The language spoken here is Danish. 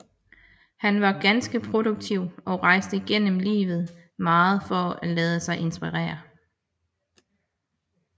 Han var ganske produktiv og rejste gennem livet meget for at lade sig inspirere